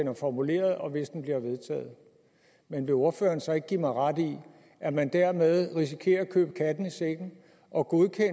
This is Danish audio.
er formuleret og hvis det bliver vedtaget men vil ordføreren så ikke give mig ret i at man dermed risikerer at købe katten i sækken og godkende